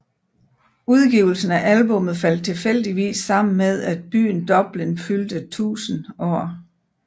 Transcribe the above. Udgivelsen af albummet faldt tilfældigvis sammen med at byen Dublin fyldte 1000 år